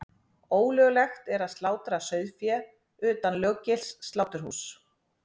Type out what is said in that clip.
Ólöglegt er að slátra sauðfé utan löggilts sláturhúss.